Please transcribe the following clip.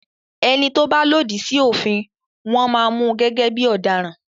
ẹní tó bà lòdì sí òfin wón má Mú gẹ́gẹ́ bí ọ̀daràn.